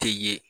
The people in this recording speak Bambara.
Tɛ ye